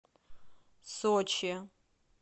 сочи